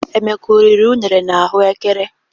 Emeka ọ riri unere na ahụ ékẹrè?